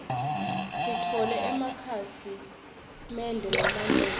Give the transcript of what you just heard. sitfole emakhasi mende lamanyenti